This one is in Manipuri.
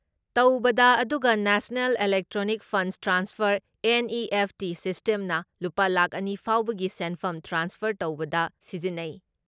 ꯇꯧꯕꯗ ꯑꯗꯨꯒ national electronic funds transfer NEFT ꯁꯤꯁꯇꯦꯝꯅ ꯂꯨꯄꯥ ꯂꯥꯈ ꯑꯅꯤ ꯐꯥꯎꯕꯒꯤ ꯁꯦꯟꯐꯝ ꯇ꯭ꯔꯥꯟꯁꯐꯔ ꯇꯧꯕꯗ ꯁꯤꯖꯤꯟꯅꯩ ꯫